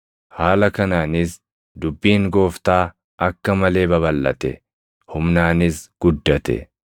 Haala kanaanis dubbiin Gooftaa akka malee babalʼate; humnaanis guddate.